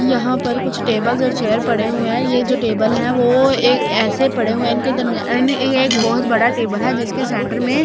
यहाँ पर कुछ टेबल्स और चेयर पड़े हुए हैं ये जो टेबल है वो ए ऐसे पड़े हुए है इनके दम्या ऐ एक बहुत बड़ा टेबल है जिसके सेंटर में --